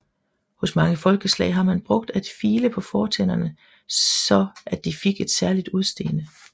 Hos mange folkeslag har man brugt at file på fortænderne så at de fik et særligt udseende